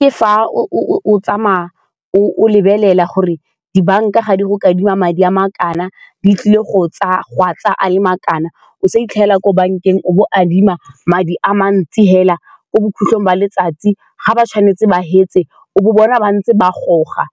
Ke fa o tsamaya o lebelela gore dibanka ga di go kadima madi a ma kana, di tlile go a tsaya a le ma kana, ko bankeng o bo o adima madi a mantsi fela ko bokgutlong ba letsatsi ga ba tshwanetse ba fetse o bona ba ntse ba goga